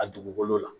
A dugukolo la